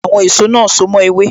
Àwọn èso náà so mo ewé